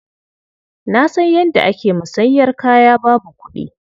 Na san yadda ake musanyar kaya babu kuɗi.